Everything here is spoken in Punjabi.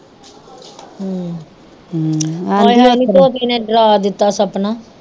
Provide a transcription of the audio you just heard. ਆਏ ਹਾਏ ਨੀ ਤੋਤੀ ਨੇ ਡਰਾ ਦਿਤਾ ਸਪਨਾ